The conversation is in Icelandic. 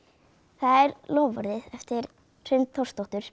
það er loforðið eftir Hrund Þórsdóttur